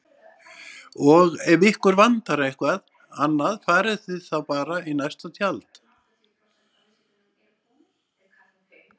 Og ef ykkur vantar eitthvað annað farið þið bara í næsta tjald